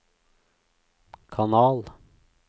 kanal